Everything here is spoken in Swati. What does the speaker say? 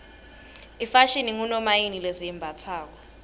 ifashini ngunomayini lesiyimbatsalo